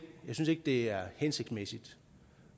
det er hensigtsmæssigt